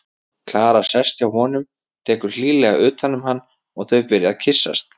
Klara sest hjá honum, tekur hlýlega utan um hann og þau byrja að kyssast.